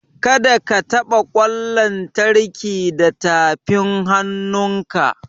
Kada ka taɓa ƙwan lantarki da tafin hannunka!